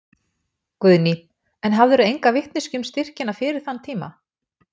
Guðný: En hafðirðu enga vitneskju um styrkina fyrir þann tíma?